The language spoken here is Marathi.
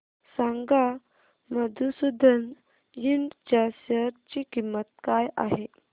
सांगा मधुसूदन इंड च्या शेअर ची किंमत काय आहे